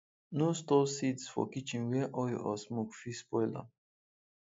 no store seeds for kitchen where oil or smoke fit spoil am